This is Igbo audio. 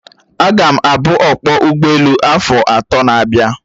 Aga m abu ọkpọ ụgbọelu afo atọ na-abịa